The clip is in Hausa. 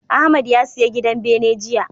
Ahmad ya siya gidan bene jiya.